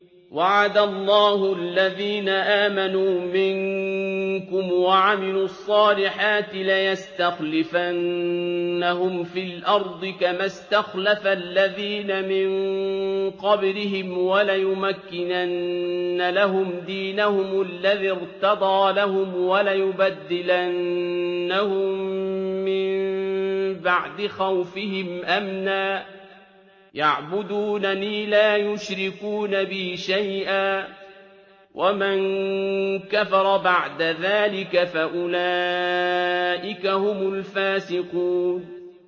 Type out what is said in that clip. وَعَدَ اللَّهُ الَّذِينَ آمَنُوا مِنكُمْ وَعَمِلُوا الصَّالِحَاتِ لَيَسْتَخْلِفَنَّهُمْ فِي الْأَرْضِ كَمَا اسْتَخْلَفَ الَّذِينَ مِن قَبْلِهِمْ وَلَيُمَكِّنَنَّ لَهُمْ دِينَهُمُ الَّذِي ارْتَضَىٰ لَهُمْ وَلَيُبَدِّلَنَّهُم مِّن بَعْدِ خَوْفِهِمْ أَمْنًا ۚ يَعْبُدُونَنِي لَا يُشْرِكُونَ بِي شَيْئًا ۚ وَمَن كَفَرَ بَعْدَ ذَٰلِكَ فَأُولَٰئِكَ هُمُ الْفَاسِقُونَ